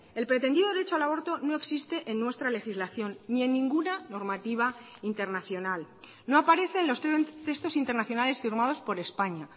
el pretendido derecho al aborto no existe en nuestra legislación ni en ninguna normativa internacional no aparece en los textos internacionales firmados por españa